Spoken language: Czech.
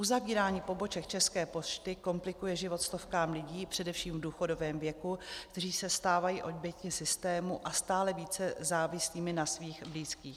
Uzavírání poboček České pošty komplikuje život stovkám lidí především v důchodovém věku, kteří se stávají oběťmi systému a stále více závislými na svých blízkých.